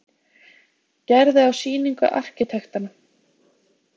Gerði á sýningu arkitektanna.